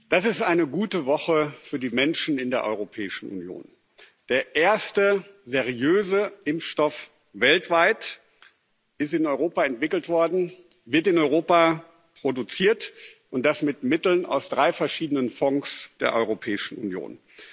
Herr Präsident! Das ist eine gute Woche für die Menschen in der Europäischen Union. Der erste seriöse Impfstoff weltweit ist in Europa entwickelt worden, wird in Europa produziert, und das mit Mitteln aus drei verschiedenen Fonds der Europäischen Union.